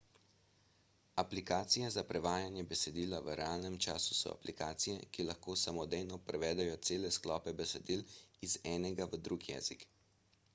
aplikacije za prevajanje besedila v realnem času so aplikacije ki lahko samodejno prevedejo cele sklope besedil iz enega v drug jezik